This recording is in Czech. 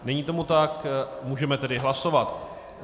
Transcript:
Není tomu tak, můžeme tedy hlasovat.